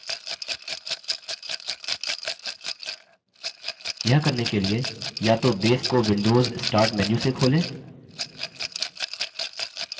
यह करने के लिए या तो base को windows start menu से खोलें